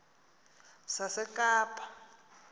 sasekapa